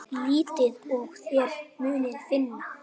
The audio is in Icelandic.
Leitið og þér munuð finna!